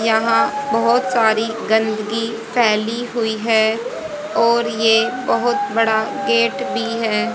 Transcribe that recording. यहाँ बहोत सारी गंदगी फैली हुई हैं और ये बहोत बड़ा गेट भीं हैं।